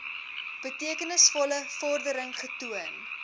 betekenisvolle vordering getoon